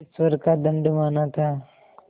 ईश्वर का दंड माना था